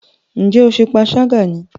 Ṣé o ṣe panṣágà ní í?